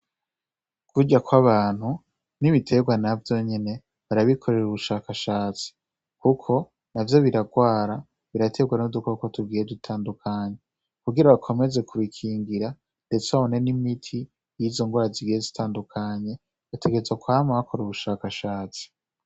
Kurya kw'abantu, n'ibiterwa navyo nyene barabikorera ubushakashatsi, kuko navyo birarwara, biraterwa n'udukoko tugiye dutandukanye. Kugira bakomeze kubikingira, ndetse babone n'imiti yizo nrwara zigiye zitandukanye, bategerezwa kwama bakora ubushakashatsi